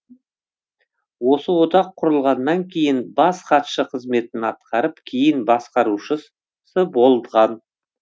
осы одақ құрылғаннан кейін бас хатшы қызметін атқарып кейін басқарушысы болған